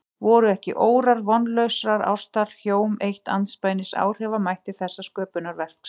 Voru ekki órar vonlausrar ástar hjóm eitt andspænis áhrifamætti þessa sköpunarverks?